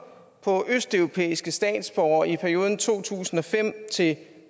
på østeuropæiske statsborgere i perioden to tusind og fem til